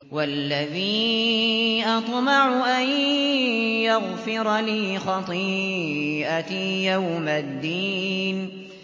وَالَّذِي أَطْمَعُ أَن يَغْفِرَ لِي خَطِيئَتِي يَوْمَ الدِّينِ